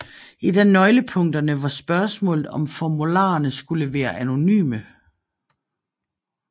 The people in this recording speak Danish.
Et af nøglepunkterne var spørgsmålet om formularerne skulle være anonyme